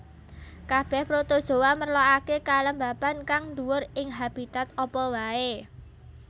Kabèh protozoa merlokaké kelembaban kang dhuwur ing habitat apa waé